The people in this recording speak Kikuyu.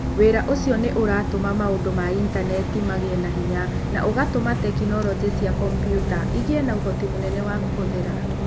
Wĩra ũcio nĩ ũratũma maũndũ ma Intaneti magĩe na hinya na ũgatũma tekinolonjĩ cia kompiuta igĩe na ũhoti mũnene wa kũhũthĩra.